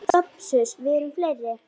SOPHUS: Við erum fleiri.